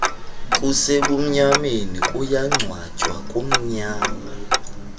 kusebumnyameni kuyangcwatywa kumnyama